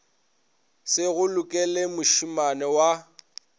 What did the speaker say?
se go lokele mošemane wa